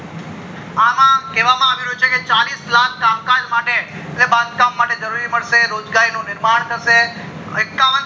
અમ કેવા આવ્યું છે ચાલીશ લાખ કામ કાજ માટે એટલે બાંધકામ માટે મળશે રોજગાર ની નિર્માણ થશે એકાવન